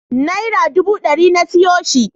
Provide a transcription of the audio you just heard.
Naira duba ɗari na siyo shi.